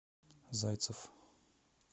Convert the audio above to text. зайцев